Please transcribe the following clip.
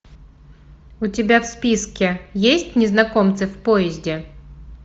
у тебя в списке есть незнакомцы в поезде